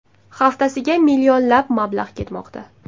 Haftasiga millionlab mablag‘ ketmoqda.